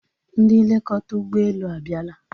Ndị nlekọta ụgbọelu abiala